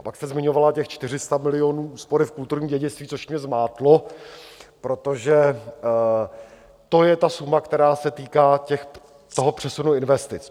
A pak jste zmiňovala těch 400 milionů úspory v kulturním dědictví, což mě zmátlo, protože to je ta suma, která se týká toho přesunu investic.